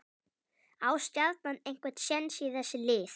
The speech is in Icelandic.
Á Stjarnan einhver séns í þessi lið?